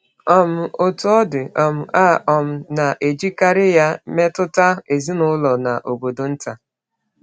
um Otú ọ dị, um a um na-ejikarị ya metụta ezinụlọ na obodo nta.